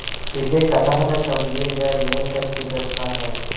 इसे कथा न समझिएगा यह सच्ची घटना है